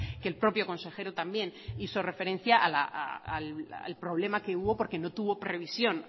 que el propio consejero también hizo referencia al problema que hubo porque no tuvo previsión